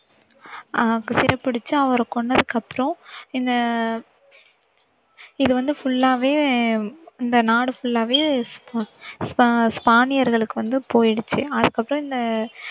அஹ் சிறை பிடிச்சு அவரைக் கொன்னதுக்கப்புறம் இந்த இது வந்து full ஆவே இந்த நாடு full ஆவே ஸ்~ ஸ்பா~ ஸ்பானியர்களுக்கு வந்து போயிடுச்சு அதுக்கப்புறம் இந்த